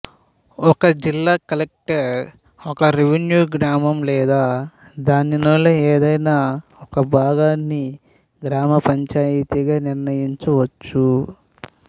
జిల్లా కలెక్టర్ ఒక రెవెన్యూ గ్రామం లేదా దానిలోని ఏదైనా ఒక భాగాన్ని గ్రామ పంచాయితీగా నిర్ణయించవచ్చు